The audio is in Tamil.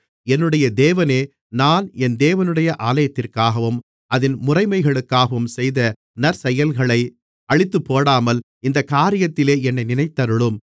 என்னுடைய தேவனே நான் என் தேவனுடைய ஆலயத்திற்காகவும் அதின் முறைமைகளுக்காகவும் செய்த நற்செயல்களை அழித்துப்போடாமல் இந்தக் காரியத்திலே என்னை நினைத்தருளும்